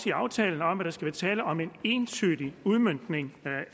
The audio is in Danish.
i aftalen om at der skal være tale om en entydig udmøntning